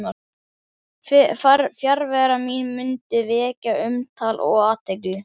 Fjarvera mín mundi vekja umtal og athygli.